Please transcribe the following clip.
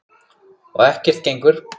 Og ekkert gengur.